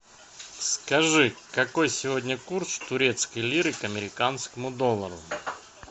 скажи какой сегодня курс турецкой лиры к американскому доллару